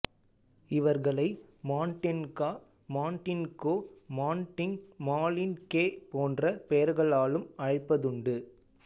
இவர்களை Mandenka Mandinko Manding Malinke போன்ற பெயர்களாலும் அழைப்பதுண்டு